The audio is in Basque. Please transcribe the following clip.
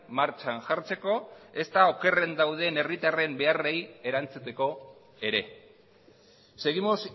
martxan jartzeko ezta okerren dauden herritarren beharrei erantzuteko ere ez seguimos